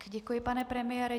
Děkuji, pane premiére.